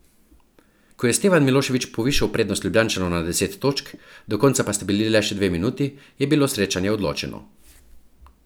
Ko je Stevan Milošević povišal prednost Ljubljančanov na deset točk, do konca pa sta bili le še dve minuti, je bilo srečanje odločeno.